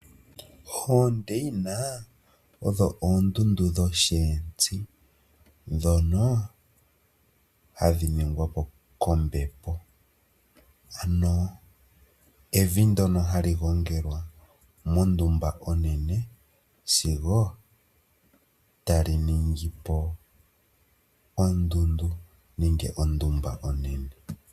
Oondeina odho oondundu dhosheentsi ndhono hadhi ningwa po kombepo ano evi ndono hali gongelwa mondumba onene sigo tali ningi po ondundu nenge ondumba onene.